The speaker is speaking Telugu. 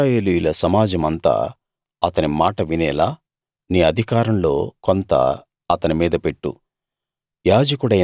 ఇశ్రాయేలీయుల సమాజమంతా అతని మాట వినేలా నీ అధికారంలో కొంత అతని మీద పెట్టు